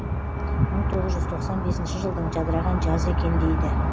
мың тоғыз жүз тоқсан бесінші жылдың жадыраған жазы екен дейді